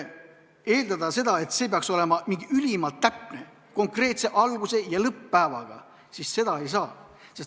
Eeldada, et see peaks olema ülimalt täpne, konkreetse alguse ja lõpp-päevaga – seda ei saa.